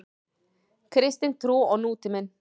Kristin trú og nútíminn.